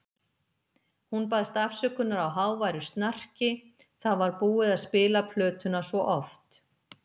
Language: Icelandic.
Hún baðst afsökunar á háværu snarki, það var búið að spila plötuna svo oft.